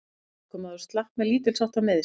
Ökumaður slapp með lítilsháttar meiðsl